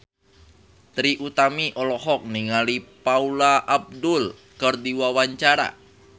Trie Utami olohok ningali Paula Abdul keur diwawancara